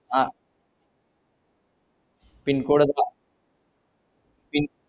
ah pincode pin